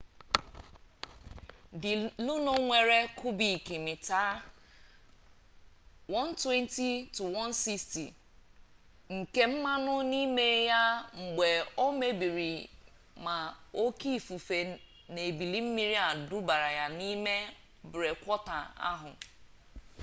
the luno nwere kubik mita 120-160 nke mmanụ n'ime ya mgbe o mebiri ma oke ifufe na ebili mmiri dubara ya n'ime brekwọta ahụ